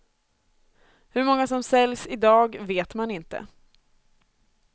Hur många som säljs idag vet man inte.